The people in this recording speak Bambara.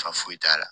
Fa foyi t'a la